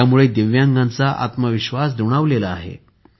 यामुळे दिव्यांगांचा आत्मविश्वास दुणावला आहे